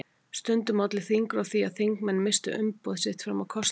Stundum olli þingrof því að þingmenn misstu umboð sitt fram að kosningum.